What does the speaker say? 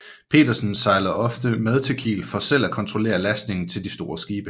Petersen sejlede ofte med til Kiel for selv at kontrollere lastningen til de store skibe